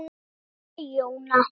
Helga Jóna.